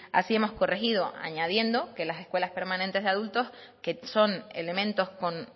así hemos corregido añadiendo que las escuelas permanentes de adultos que son elementos con